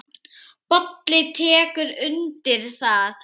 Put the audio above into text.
Bolli tekur undir það.